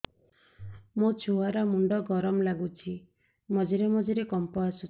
ମୋ ଛୁଆ ର ମୁଣ୍ଡ ଗରମ ଲାଗୁଚି ମଝିରେ ମଝିରେ କମ୍ପ ଆସୁଛି